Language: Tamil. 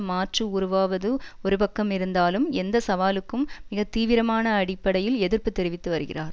மாற்று உருவாவது ஒருபக்கமிருந்தாலும் எந்த சவாலுக்கும் மிக தீவிரமான அடிப்படையில் எதிர்ப்பு தெரிவித்துவருகிறார்